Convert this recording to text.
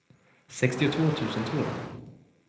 sextiotvå tusen två